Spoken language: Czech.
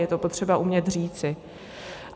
Je to potřeba umět říci.